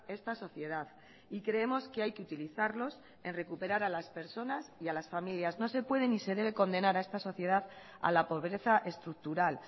esta sociedad y creemos que hay que utilizarlos en recuperar a las personas y a las familias no se pueden ni se debe condenar a esta sociedad a la pobreza estructural